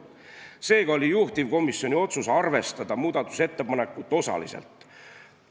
Seega oli juhtivkomisjoni otsus arvestada muudatusettepanekut osaliselt.